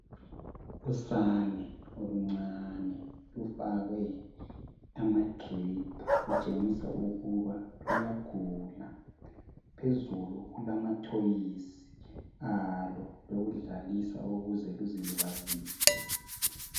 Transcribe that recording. Usane oluncane lufakwe ama"drip".Kutshengisa ukuba luyagula. Phezulu kulama thoyisi alo lokudlalisa ukuze luzilibazise.